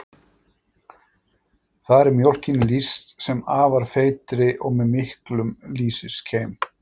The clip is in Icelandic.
Þar er mjólkinni lýst sem afar feitri og með miklum lýsiskeim.